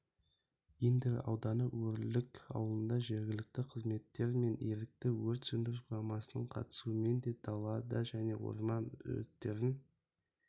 индер ауданы өрлік ауылында жергілікті қызметтер мен ерікті өрт сөндіру құрамасының қатысуымен дала және орман өрттерін